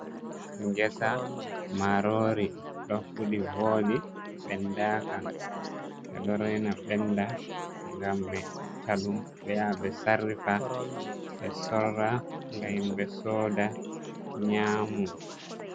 Ngesa marori ɗo fuɗi voɗi ɓenda ka, ɓeɗo rena ɓenda ngam ɓe itta ɗum ɓe ya ɓe sarrifa, ɓe sorra ngam ɓe soda nyamu.